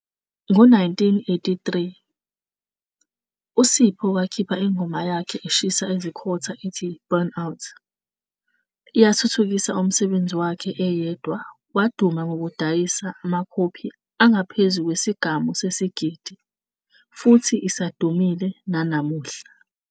Ngo-1983, uSipho wakhipha ingoma yakhe eshisa izikhotha ethi "Burn Out" eyathuthukisa umsebenzi wakhe eyedwa waduma ngokudayisa amakhophi angaphezu kwesigamu sesigidi futhi isadumile nanamuhla.